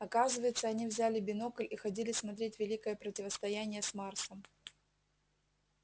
оказывается они взяли бинокль и ходили смотреть великое противостояние с марсом